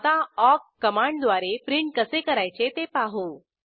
आता ऑक कमांडद्वारे प्रिंट कसे करायचे ते पाहू